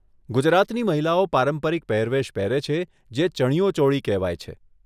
ગુજરાતની મહિલાઓ પારંપરિક પહેરવેશ પહેરે છે, જે ચણિયો ચોળી કહેવાય છે.